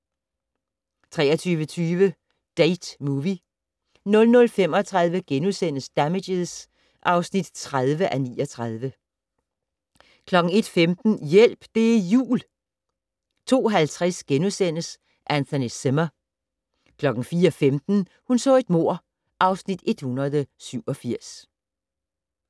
23:20: Date Movie 00:35: Damages (30:39)* 01:15: Hjælp! Det er jul! 02:50: Anthony Zimmer * 04:15: Hun så et mord (Afs. 187)